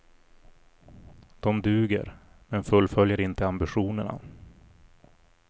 De duger, men fullföljer inte ambitionerna.